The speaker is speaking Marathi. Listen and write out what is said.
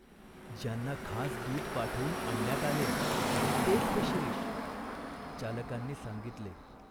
ज्यांना खास दूत पाठवून आणण्यात आले, तेच हे शिरीष !" चालकांनी सांगितले.